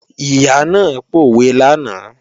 Ìyá náà pòwe lánàá